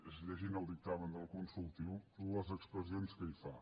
és llegint el dictamen del consultiu les expressions que hi fa